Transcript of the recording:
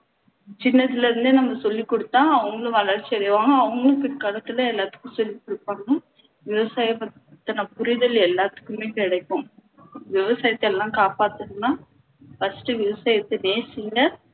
சின்னதுல இருந்தே நம்ம சொல்லி கொடுத்தா அவங்களும் வளர்ச்சி அடைவாங்க அவங்களும் பிற்காலத்துல எல்லாத்துக்கும் சொல்லி கொடுப்பாங்க விவசாயத்த பத்தின புரிதல் எல்லாத்துக்குமே கிடைக்கும் விவசாயத்த எல்லாம் காப்பாத்தணும்னா first விவசாயத்தை நேசிங்க